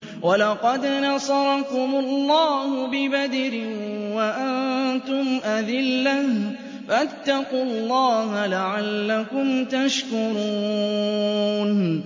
وَلَقَدْ نَصَرَكُمُ اللَّهُ بِبَدْرٍ وَأَنتُمْ أَذِلَّةٌ ۖ فَاتَّقُوا اللَّهَ لَعَلَّكُمْ تَشْكُرُونَ